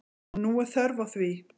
Og nú er þörf á því.